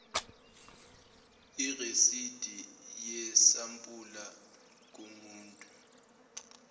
irasidi yesampula kumuntu